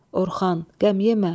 Orxan: Qəm yemə.